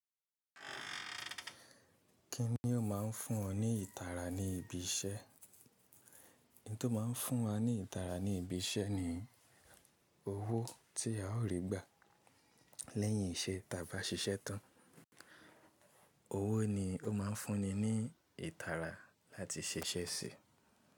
Kíni ó máa ń fún ọ ní ìtara ní ibi iṣẹ́? Ohun tó máa ń fún wa ní ìtara ní ibi iṣẹ́ ni owó tí a ó rí gbà lẹ́yìn ìṣe tí a bá ṣiṣẹ́ tán. Owó ni ó máa ń fún ni ní ìtara láti ṣiṣẹ́ síi.